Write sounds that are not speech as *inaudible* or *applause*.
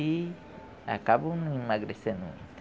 E acabo não emagrecendo. *unintelligible*